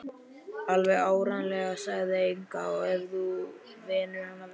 Alveg áreiðanlega, sagði Inga, ef þú venur hann vel.